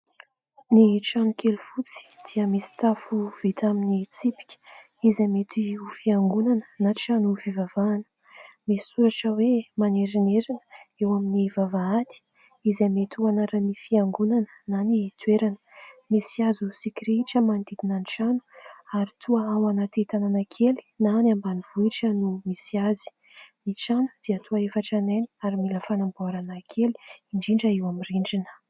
Ny trano kely fotsy dia misy tafo vita amin'ny tsipika izay mety ho fiangonana na trano fivavahana misy soratra hoe : "Manerinerina" eo amin'ny vavahady izay mety ho anaran'ny fiangonana na ny toerana, misy hazo sy kirihitra manodidina ny trano ary toa ao anaty tanàna kely na ny ambanivohitra no misy azy, ny trano dia toa efa tranainy ary mila fanamboarana kely indrindra eo amin'ny rindrina.